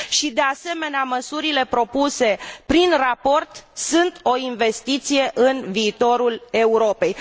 de asemenea, măsurile propuse prin raport sunt o investiție în viitorul Europei.